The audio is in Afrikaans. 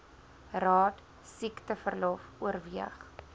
raad siekteverlof oorweeg